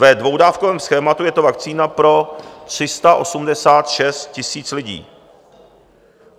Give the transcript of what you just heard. Ve dvoudávkovém schématu je to vakcína pro 386 000 lidí.